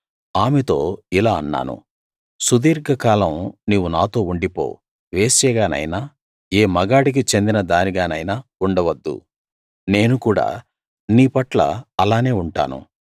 ఆమెతో ఇలా అన్నాను సుదీర్ఘకాలం నీవు నాతో ఉండిపో వేశ్యగానైనా ఏ మగవాడికి చెందిన దానిగానైనా ఉండవద్దు నేను కూడా నీపట్ల అలానే ఉంటాను